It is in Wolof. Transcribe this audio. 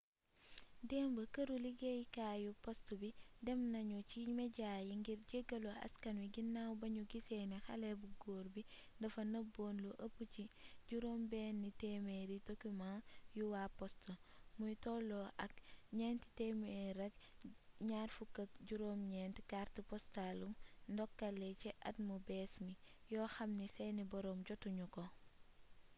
démb këru liggéyukaayu post bi dem nañu ci mejaa yi ngir jéggalu askan wi ginaaw bi ñu gisee ni xale bu góor bi dafa nëbboon lu ëpp 600 document yu waa post muy tolloo ak 429 cartes postaalu ndokkale ci at mu bees mi yoo xamni seeni booroom jotu ñu ko